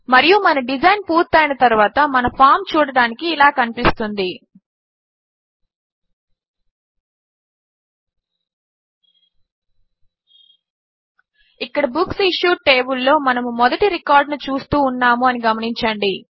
మరియు మన డిజైన్ పూర్తి అయిన తరువాత మన ఫామ్ చూడడానికి ఇలా కనిపిస్తుంది ఇక్కడ బుక్సిష్యూడ్ టేబుల్ లో మనము మొదటి రికార్డ్ ను చూస్తూ ఉన్నాము అని గమనించండి